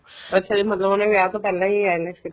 ਅੱਛਾ ਜੀ ਮਤਲਬ ਉਹਨੇ ਵਿਆਹ ਤੋਂ ਪਹਿਲਾਂ ਹੀ IELTS ਕੀਤੀ